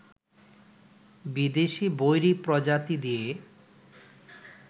বিদেশি বৈরী প্রজাতি দিয়ে